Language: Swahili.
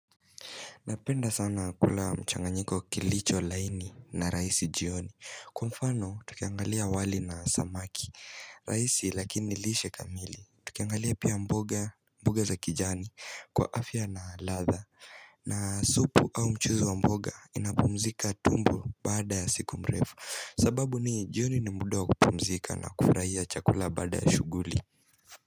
Napenda sana kula mchanganyiko kilicho laini na rahisi jioni. Kwa mfano, tukiangalia wali na samaki rahisi, lakini lishe kamili. Tukiangalia pia mboga, mboga za kijani kwa afya na ladha, na supu au mchuzi wa mboga, inapumzika tumbo baada ya siku mrefu. Sababu ni, jioni ni muda kupumzika na kufurahia chakula baada ya shughuli.